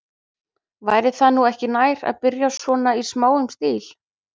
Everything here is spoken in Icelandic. Væri það nú ekki nær, að byrja svona í smáum stíl?